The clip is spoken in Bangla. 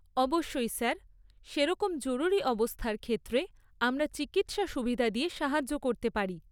অবশ্যই স্যার। সেরকম জরুরী অবস্থার ক্ষেত্রে আমরা চিকিৎসা সুবিধা দিয়ে সাহায্য করতে পারি।